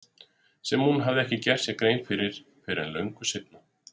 Sem hún hafði ekki gert sér grein fyrir fyrr en löngu seinna.